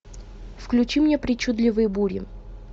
включи мне причудливые бури